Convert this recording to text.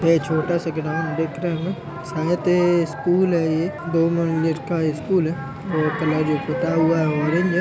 ये छोटा सा ग्राउंड दिख रहे हो न शायद ये स्कूल है। ये दो मंजिल का स्कूल है और कलर जो पुता हुआ है ऑरेंज है।